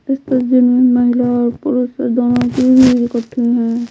इस तस्वीर में महिला और पुरुष दोनों की भीड़ इक्कठी है।